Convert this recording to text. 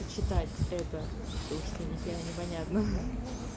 и читать это то что нихера непонятно